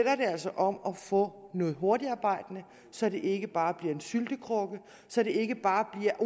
altså om at få noget hurtigarbejdende så det ikke bare bliver en syltekrukke så det ikke bare bliver